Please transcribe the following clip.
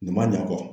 Nin ma ɲa kɔ